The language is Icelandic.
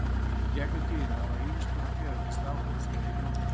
Í gegnum tíðina hafa ýmiss konar tegundir stafrófs verið í notkun.